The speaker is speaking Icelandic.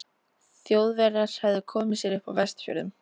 Þjóðverjar hefðu komið sér upp á Vestfjörðum.